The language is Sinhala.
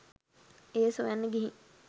එය සොයන්න ගිහින්